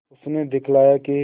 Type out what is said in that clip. उसने दिखलाया कि